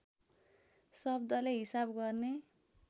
शब्दले हिसाब गर्ने